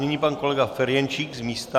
Nyní pan kolega Ferjenčík z místa.